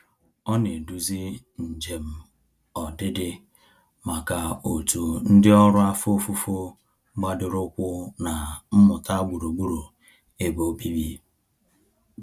Ọ na-eduzi njem ọdịdị maka òtù ndị ọrụ afọ ofufo gbadoroụkwụ na mmụta gburugburu ebe obibi.